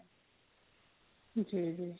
ਜੀ ਜੀ